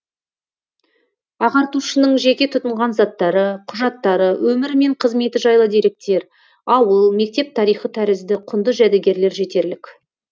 ағартушының жеке тұтынған заттары құжаттары өмірі мен қызметі жайлы деректер ауыл мектеп тарихы тәрізді құнды жәдігерлер жетерлік